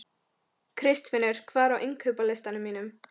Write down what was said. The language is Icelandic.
Kristfinnur, hvað er á innkaupalistanum mínum?